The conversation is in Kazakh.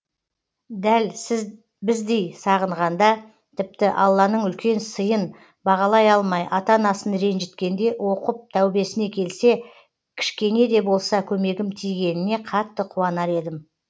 дәл сіз біздей сағынғанда тіпті алланың үлкен сыйын бағалай алмай ата анасын ретжіткенде оқып тәубесіне келсе кішкене де болса көмегім тигеніне қатты қуанар едім